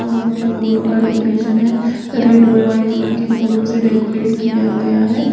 वहां पे फूलो का डेकोरेशन है रेड और व्हाइट कलर की फूलों से डेकोरेट किया गया है।